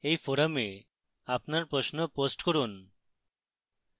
এই forum আপনার প্রশ্ন post করুন